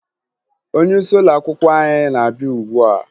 Onyeisi ụlọakwụkwọ anyị na-abịa ugbua